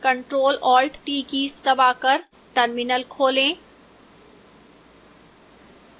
control + alt + t keys दबाकर terminal terminal खोलें